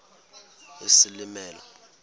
isilimela